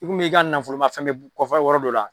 I i ka nafoloma fɛn be kɔfɛ yɔrɔ dɔ la